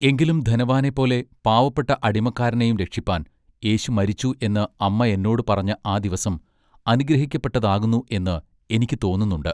എങ്കിലും ധനവാനെ പോലെ പാവപ്പെട്ട അടിമക്കാരനെയും രക്ഷിപ്പാൻ യേശു മരിച്ചു എന്ന് അമ്മ എന്നോടു പറഞ്ഞ ആ ദിവസം അനുഗ്രഹിക്കപ്പെട്ടതാകുന്നു എന്ന് എനിക്ക് തോന്നുന്നുണ്ട്.